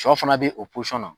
Sɔ fana be o na.